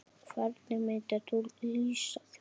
Hvernig myndir þú lýsa því?